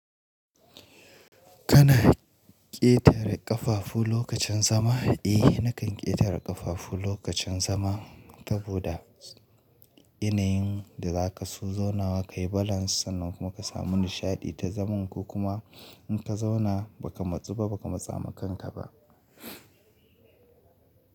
Kana ƙetare ƙafafu lokacin zama? Eh nakan ƙetare ƙafafu lokacin zama saboda yanayin da za ka so zaunawa ka yi balance sannan kuma ka samu nishaɗi ta zaman ko kuma in ka zauna ba ka matsu ba, ba ka matsa makanka ba.